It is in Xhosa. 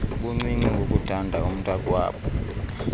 buncinci ngokuthanda umntaakwabo